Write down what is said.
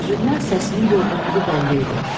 Üzündən səsinin yorğunluğu bəlli idi.